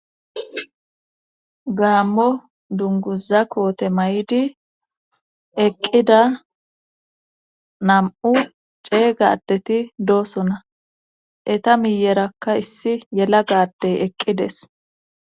gaammo dunguza koote may7di eqqida nam7u ceega adeti doosona eta miyerakka issi yela gadey eqqides